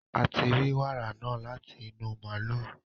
a ti rí wàrà náà láti inú màlúù